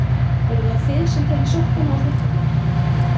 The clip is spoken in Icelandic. Eruð það þið sem takið sokkana úr þvottinum?